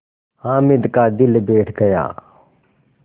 हामिद का दिल बैठ गया